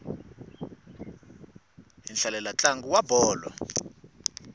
hi hlalela ntlangu wa bolo